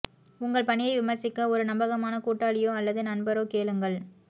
உங்கள் பணியை விமர்சிக்க ஒரு நம்பகமான கூட்டாளியோ அல்லது நண்பரோ கேளுங்கள்